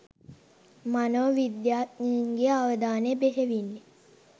මනෝ විද්‍යාඥයන්ගේ් අවධානය බෙහෙවින්